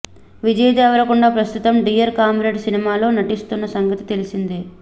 విజయ్ దేవరకొండ ప్రస్తుతం Dear Comrade సినిమాలో నటిస్తున్న సంగతి తెలిసిందే